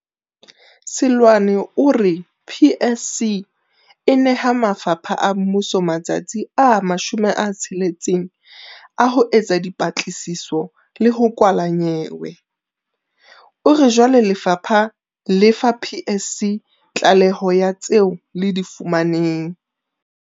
Seloane o re PSC e neha mafapha a mmuso matsatsi a 60 a ho etsa dipatlisiso le ho kwala nyewe. O re jwale lefapha le fa PSC tlaleho ya tseo le di fumaneng.